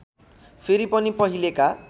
फेरि पनि पहिलेका